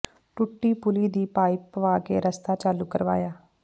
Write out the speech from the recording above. ਟੁੱਟੀ ਪੁਲੀ ਦੀ ਪਾਈਪ ਪਵਾ ਕੇ ਰਸਤਾ ਚਾਲੂ ਕਰਵਾਇਆ